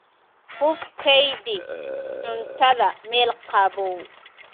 Ku kaydi cuntada meel qabow.